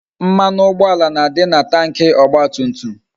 Mmanụ ụgbọala na-adị na Tanki ọgba tum tum